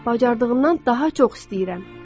Bacardığımdan daha çox istəyirəm.